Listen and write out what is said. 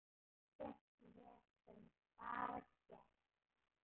Ekkert vesen, bara gert.